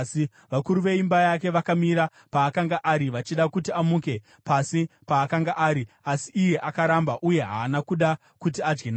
Vakuru veimba yake vakamira paakanga ari, vachida kuti amuke pasi paakanga ari, asi iye akaramba, uye haana kuda kuti adye navo.